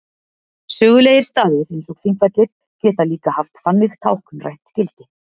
sögulegir staðir eins og þingvellir geta líka haft þannig táknrænt gildi